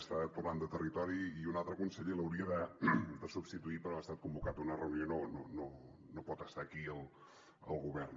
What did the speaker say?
està tornant de territori i un altre conseller l’hauria de substituir però ha estat convocat a una reunió i no pot estar aquí al govern